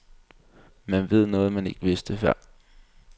Man ved noget man ikke vidste før.